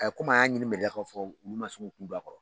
komi an y'a ɲini fɔ olu maan se k'u kun don a kɔrɔ.